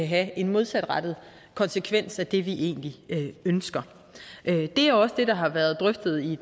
have en modsatrettet konsekvens af det vi egentlig ønsker det er også det der har været drøftet i